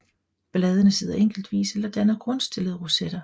Bladene sidder enkeltvis eller danner grundstillede rosetter